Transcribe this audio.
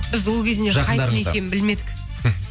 біз ол кезде хайп не екенін білмедік